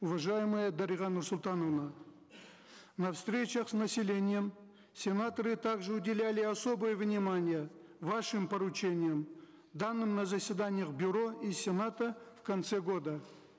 уважаемая дарига нурсултановна на встречах с населением сенаторы также уделяли особое внимание вашим поручениям данным на заседаниях бюро и сената в конце года